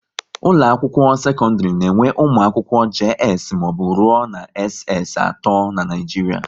Ụlọ akwụkwọ sekọndrị na enwe ụmụ akwụkwọ JS mbụ rụọ na SS atọ n'Naijiria